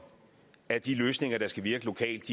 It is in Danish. at de løsninger der skal virke lokalt et